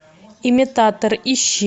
имитатор ищи